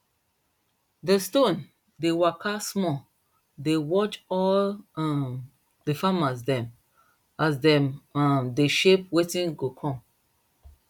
de stone dey waka small dey watch all um di farmer dem as dem um dey shape wetin go come